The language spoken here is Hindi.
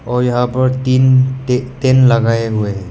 और यहां पर तीन ते तेन लगाए हुए हैं।